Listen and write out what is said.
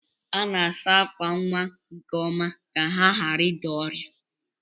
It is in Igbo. A na-asa ákwà nwa nke ọma ka ha ghara ịda ọrịa.